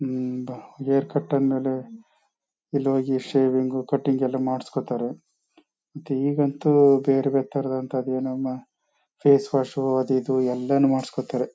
ಹ್ಮ್ಮ್ಮ್ ಭ hair cut ಆದ್ಮೇಲೆ ಇಲ್ ಹೋಗಿ ಶೇವಿಂಗ್ ಕಟಿಂಗ್ ಎಲ್ಲ ಮಾಡ್ಸ್ಕೊತಾರೆ ಮತ್ತ್ಈಗಂತೂ ಬೇರ್ ಬೇರೆ ತರಹದ್ದು ಅದ್ ಏನನ ಫೇಸ್ ವಾಶು ಅದು ಇದು ಎಲ್ಲಾನು ಮಾಡ್ಸ್ಕೊತಾರೆ.